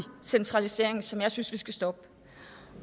centralisering som jeg synes at vi skal stoppe